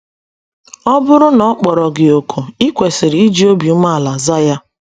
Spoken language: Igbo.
Ọ bụrụ na ọ kpọrọ gị òkù, i kwesịrị iji obi umeala zaa ya.